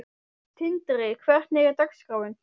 Tindri, hvernig er dagskráin?